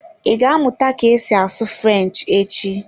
Ị ga-amụta ka esi asụ French echi?